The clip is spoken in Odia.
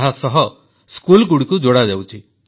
ଏହାସହ ସ୍କୁଲଗୁଡ଼ିକୁ ଯୋଡ଼ାଯାଉଛି